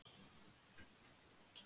Hvað skildi Ási Arnars vera að hugsa?